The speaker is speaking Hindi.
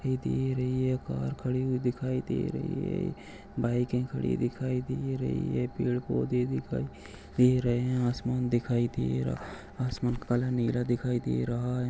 हे दे रही है कार खड़ी दिखाई दे रही है बाइके खड़ी दिखाई दे रही है पैड पौधे दिखाई दे रहे है आसमान दिखाई दे रहा आसमान काला नीला दिखाई दे रहा है।